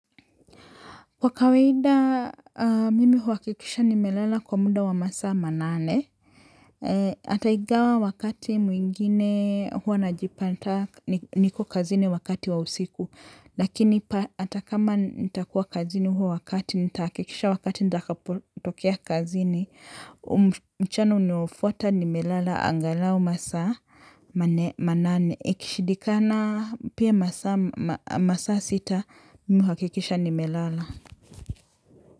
Kwa kawaida mimi huwakikisha nimelala kwa muda wa masaa manane. Ataingawa wakati mwingine huwa na jipata niko kazini wakati wa usiku. Lakini hata kama nitakuwa kazini huo wakati nitakikisha wakati nitakapotokea kazini. Mchana unaofwata nimelala angalau masaa manane. Ikishidikana pia masaa sita mi huwakikisha nimelala.